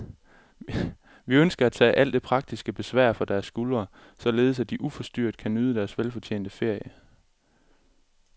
Vi ønsker at tage alt det praktiske besvær fra deres skuldre, således at de uforstyrret kan nyde deres velfortjente ferie.